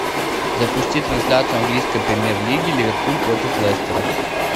запусти трансляцию английской премьер лиги ливерпуль против лестера